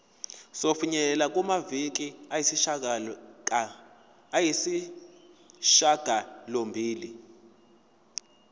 sokufinyelela kumaviki ayisishagalombili